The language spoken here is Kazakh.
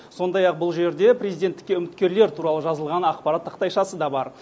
сондай ақ бұл жерде президенттікке үміткерлер туралы жазылған ақпарат тақтайшасы да бар